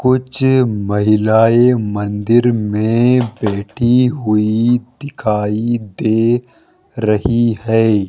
कुछ महिलाएं मंदिर में बैठी हुई दिखाई दे रही है।